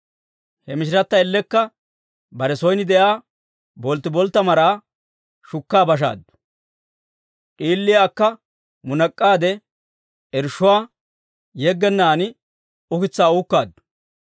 He mishirata ellekka bare son de'iyaa bolttiboltta maraa shukka bashaaddu; d'iiliyaa akka munak'aade, irshshuwaa yeggennaan ukitsaa uukkaaddu.